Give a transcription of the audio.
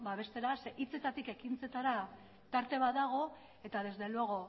babestera zeren hitzetatik ekintzetara tarte bat dago eta desde luego